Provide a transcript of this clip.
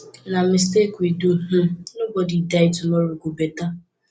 na mistake we do um nobody die tomorrow go beta